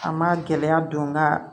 A ma gɛlɛya don ga